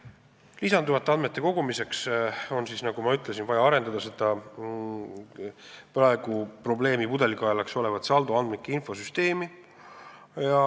Nagu ma ütlesin, lisanduvate andmete kogumiseks on vaja arendada seda praegu probleemi pudelikaelaks olevat saldoandmike infosüsteemi.